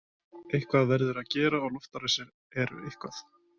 Eitthvað verður að gera og loftárásir eru eitthvað.